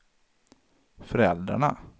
föräldrarna